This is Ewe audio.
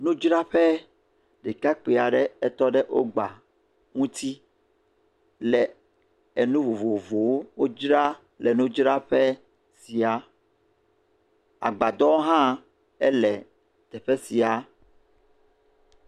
Nudzraƒe, ɖekakpui aɖe etɔ ɖe wogba ŋuti le enu vovovowo dzra le nudzraƒe sia. Agbadɔwo hã le teƒe sia.